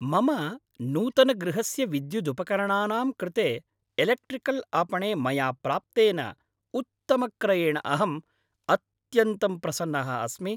मम नूतनगृहस्य विद्युदुपकरणानां कृते एलेक्ट्रिकल् आपणे मया प्राप्तेन उत्तमक्रयेण अहम् अत्यन्तं प्रसन्नः अस्मि।